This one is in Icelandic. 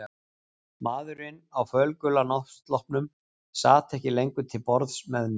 Maðurinn á fölgula náttsloppnum sat ekki lengur til borðs með mér.